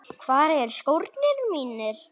Hvar eru skórnir mínir?